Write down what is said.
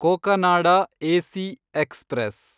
Cocanada AC express